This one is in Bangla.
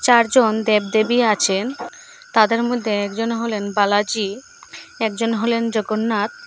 চারজন দেব দেবী আছেন তাদের মদ্যে একজন হলেন বালাজি একজন হলেন জগন্নাথ।